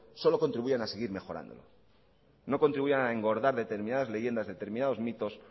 solo contribuyen a seguir mejorándolo no contribuirán a engordar determinadas leyendas determinados mitos